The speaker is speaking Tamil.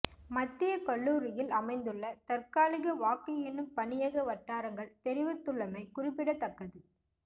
மத்திய கல்லூரியில் அமைந்துள்ள தற்காலிக வாக்கு எண்ணும் பணியக வட்டாரங்கள் தெரிவித்துள்ளமை குறிப்பிடத்தக்கது